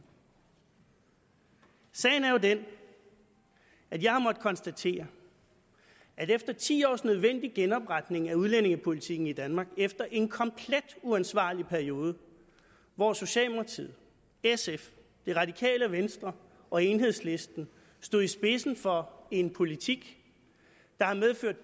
sagen er jo den at jeg har måttet konstatere at efter ti års nødvendig genopretning af udlændingepolitikken i danmark efter en komplet uansvarlig periode hvor socialdemokratiet sf det radikale venstre og enhedslisten stod i spidsen for en politik der har medført